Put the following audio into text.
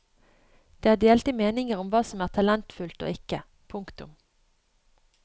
Det er delte meninger om hva som er talentfullt og ikke. punktum